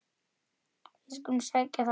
Við skulum sækja um það.